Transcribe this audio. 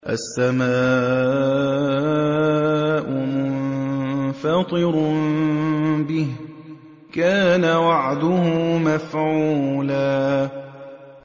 السَّمَاءُ مُنفَطِرٌ بِهِ ۚ كَانَ وَعْدُهُ مَفْعُولًا